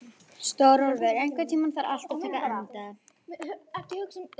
Stórólfur, einhvern tímann þarf allt að taka enda.